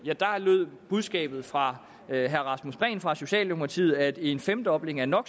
lød budskabet fra herre rasmus prehn fra socialdemokratiet at en femdobling af no